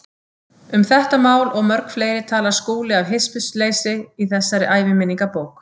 Um þetta mál og mörg fleiri talar Skúli af hispursleysi í þessari æviminningabók.